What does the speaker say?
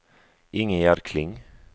Ingegerd Kling